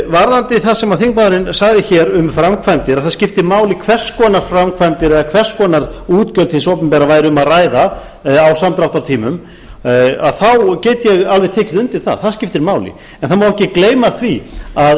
varðandi það sem þingmaðurinn sagði hér um framkvæmdir að það skipti máli hvers konar framkvæmdir eða hvers konar útgjöld hins opinbera væri um að ræða á samdráttartímum þá get ég alveg tekið undir það það skiptir máli en það má ekki gleyma því að